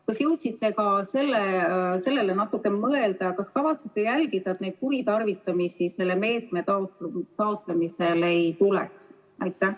Kas jõudsite ka nendele natuke mõelda ja kas kavatsete jälgida, et kuritarvitamisi selle meetme taotlemisel ei tuleks?